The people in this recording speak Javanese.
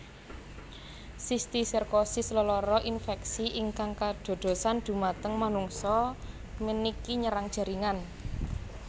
Sistiserkosis lelara infeksi ingkang kadadosan dhumateng manungsa meniki nyerang jaringan